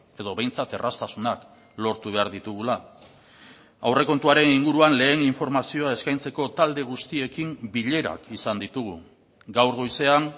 edo behintzat erraztasunak lortu behar ditugula aurrekontuaren inguruan lehen informazioa eskaintzeko talde guztiekin bilerak izan ditugu gaur goizean